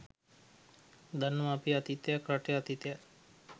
දන්නව අපේ අතීතයත් රටේ අතීතයත්.